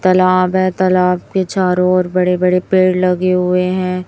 तालाब है तालाब के चारों ओर बड़े बड़े पेड़ लगे हुए हैं।